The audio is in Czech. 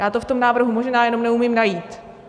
Já to v tom návrhu možná jenom neumím najít.